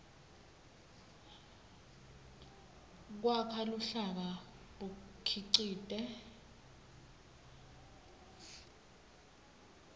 kwakha luhlaka bukhicite